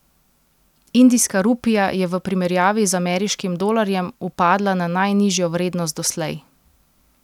Indijska rupija je v primerjavi z ameriškim dolarjem upadla na najnižjo vrednost doslej.